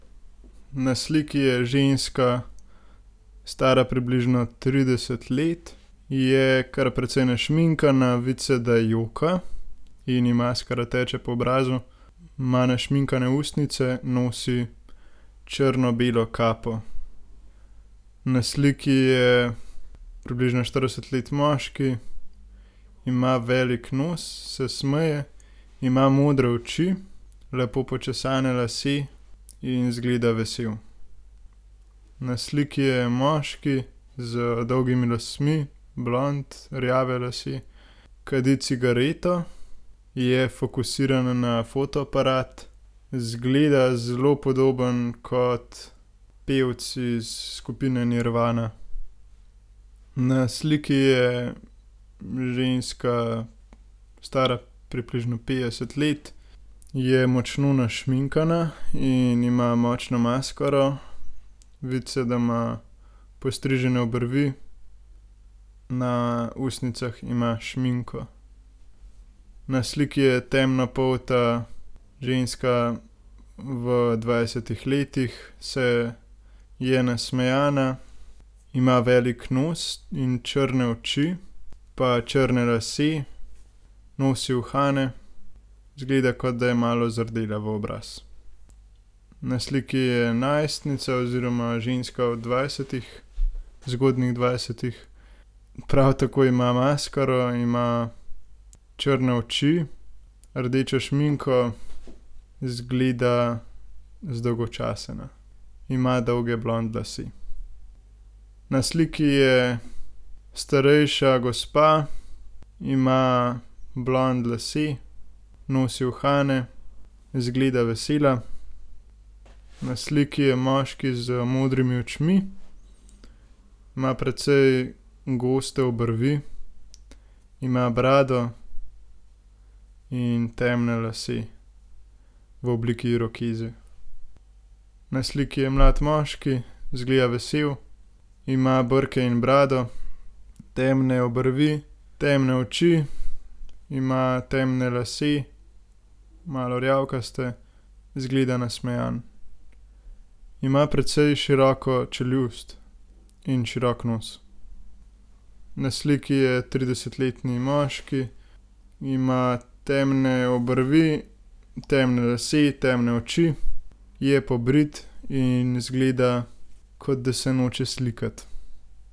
Na sliki je ženska, stara približno trideset let. Je kar precej našminkana, vidi se, da joka in ji maskara teče po obrazu. Ima našminkane ustnice, nosi črno-belo kapo. Na sliki je približno štirideset let moški. Ima velik nos, se smeje, ima modre oči, lepo počesane lase in izgleda vesel. Na sliki je moški z dolgimi lasmi, blond, rjave lase. Kadi cigareto, je fokusiran na fotoaparat. Izgleda zelo podobno kot pevec iz skupine Nirvana. Na sliki je ženska, stara približno petdeset let. Je močno našminkana in ima močno maskaro. Vidi se, da ima postrižene obrvi, na ustnicah ima šminko. Na sliki je temnopolta ženska v dvajsetih letih, se, je nasmejana, ima velik nos in črne oči, pa črne lase. Nosi uhane, izgleda, kot da je malo zardela v obraz. Na sliki je najstnica oziroma ženska v dvajsetih, zgodnjih dvajsetih. Prav tako ima maskaro, ima črne oči, rdečo šminko, izgleda zdolgočasena. Ima dolge blond lase. Na sliki je starejša gospa. Ima blond lase, nosi uhane, izgleda vesela. Na sliki je moški z modrimi očmi. Ima precej goste obrvi. Ima brado In temne lase, v obliki irokeze. Na sliki je mlad moški, izgleda vesel, ima brke in brado, temne obrvi, temne oči. Ima temne lase, malo rjavkaste. Izgleda nasmejan. Ima precej široko čeljust in širok nos. Na sliki je tridesetletni moški. Ima temne obrvi, temne lase, temne oči. Je pobrit in izgleda, kot da se noče slikati.